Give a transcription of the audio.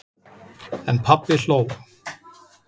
En pabbi hló.